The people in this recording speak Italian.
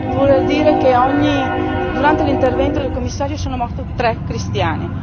Vuol dire che durante l'intervento del Commissario sono morti tre cristiani.